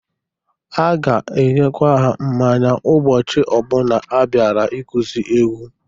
Ha ga-enyekwa ha mmanya ụbọchị ọbụna ha bịara ịkụzị egwu.